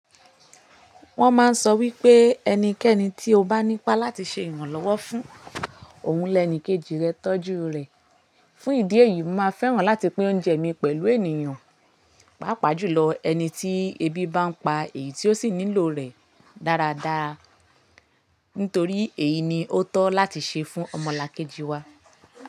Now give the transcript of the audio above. Wọ́n máa ń sọ wípé ẹnikẹ́ni tí ó bá ní ipá láti ṣe ìrànlọ́wọ́ fún òun lẹ́ẹ́ni kejì rẹ tọ́jú rẹ̀. Fún ìdí èyí, mo máa fẹ́ràn láti pín oúnjẹ mi pẹ̀lú ènìyàn, pàápàá jùlọ ẹni tí ebi bá ń pa èyí tí ó sì nílò rẹ̀ dáradára nítorí èyí ni ó tọ́ láti ṣe fún ọmọlàkejì wa.